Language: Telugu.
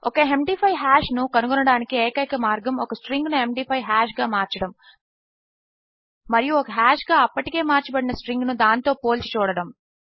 ఒక md5హాష్ ను కనుగొనడానికి ఏకైన మార్గము ఒక స్ట్రింగ్ ను ఎండీ5 హాష్ గా మార్చడము మరియు ఒక హాష్ గా అప్పటికే మార్చబడిన స్ట్రింగ్ ను దానితో పోల్చిచూడడము